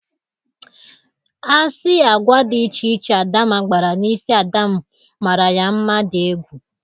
Asị agwa dị iche iche Adamma gbara n'isi ada m mara ya mma dị egwu.